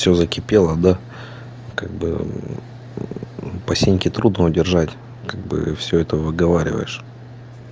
все закипело да как бы э по синьке трудно удержать как бы э все это выговариваешь